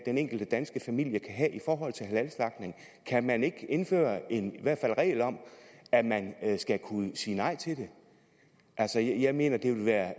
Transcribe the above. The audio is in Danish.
enkelte danske familie kan have i forhold til halalslagtning kan man ikke i indføre en regel om at man skal kunne sige nej til det jeg mener det vil være